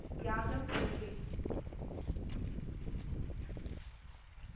தியாகம் செய்வேன்